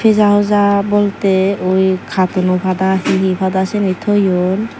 peja hoja bolteh uuui katono pada hihi pada siyani toyon.